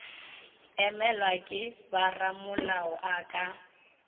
emelwa ke boramolao a ka